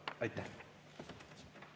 Aitäh!